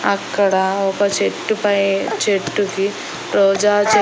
అక్కడ ఒక చెట్టు పై చెట్టు కి రోజా చే.